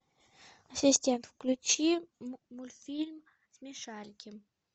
ассистент включи мультфильм смешарики